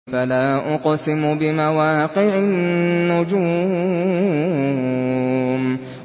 ۞ فَلَا أُقْسِمُ بِمَوَاقِعِ النُّجُومِ